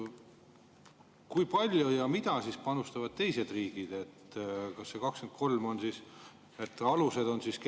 Kui palju ja mida panustavad teised riigid, 23?